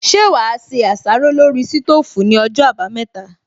Ṣé wà á se àsáró lórí sítóòfù ní ọjọ́ àbámẹ́ta